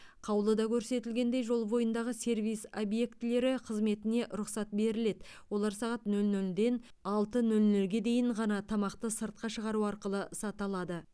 қаулыда көрсетілгендей жол бойындағы сервис объектілері қызметіне рұқсат беріледі олар сағат нөл нөлден алты нөл нөлге дейін ғана тамақты сыртқа шығару арқылы сата алады